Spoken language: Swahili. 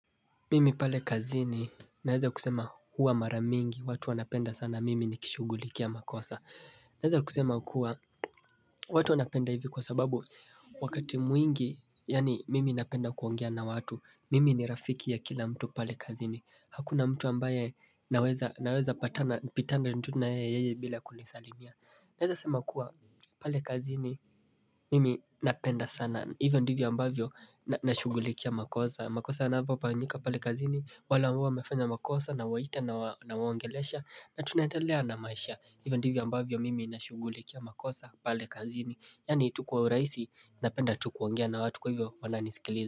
Mimi pale kazini, naweza kusema huwa mara mingi, watu wanapenda sana, mimi nikishugulikia makosa. Naeza kusema kuwa, watu wanapenda hivi kwa sababu, wakati mwingi, yaani mimi napenda kuongea na watu, mimi ni rafiki ya kila mtu pale kazini. Hakuna mtu ambaye naweza patana, pitana tu na yeye bila kunisalimia. Naeza kusema kuwa, pale kazini, mimi napenda sana, hivo ndivyo ambavyo, napenda kushugulikia makosa. Makosa yanapopanyika pale kazini wale ambao wamefanya makosa nawaita nawaongelesha na tunandelea na maisha hivo ndivyo ambavyo mimi nashugulikia makosa pale kazini Yaani tu kwa uraisi napenda tu kuongea na watu kwa hivyo wananisikiliza.